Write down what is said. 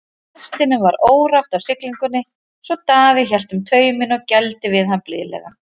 Hestinum var órótt á siglingunni svo Daði hélt um tauminn og gældi við hann blíðlega.